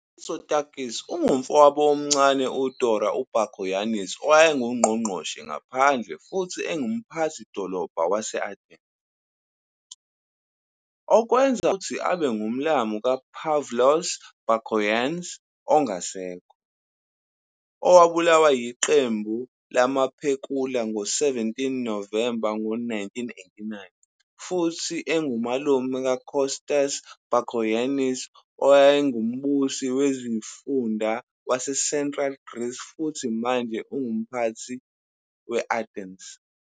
UMitsotakis ungumfowabo omncane UDora Bakoyannis owayengUNgqongqoshe Wezangaphandle futhi engUmphathi-dolobha wase-Athens, okwenza ukuthi abe ngumlamu kaPavlos Bakoyans ongasekho, owabulawa yiqembu lamaphekula ngo-17 November ngo-1989 futhi engumalume kaKostas Bakoyennis, owayengumbusi wesifunda waseCentral Greece futhi manje ongumphathi-Athens.